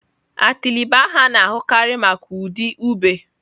Atịlị bụ aha a na-ahụkarị maka ụdị ube.